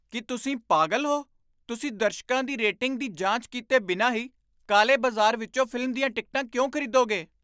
ਕੀ ਤੁਸੀਂ ਪਾਗਲ ਹੋ? ਤੁਸੀਂ ਦਰਸ਼ਕਾਂ ਦੀ ਰੇਟਿੰਗ ਦੀ ਜਾਂਚ ਕੀਤੇ ਬਿਨਾਂ ਹੀ ਕਾਲੇ ਬਾਜ਼ਾਰ ਵਿੱਚੋਂ ਫ਼ਿਲਮ ਦੀਆਂ ਟਿਕਟਾਂ ਕਿਉਂ ਖ਼ਰੀਦੋਗੇ?